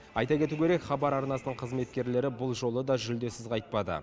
айта кету керек хабар арнасының қызметкерлері бұл жолы да жүлдесіз қайтпады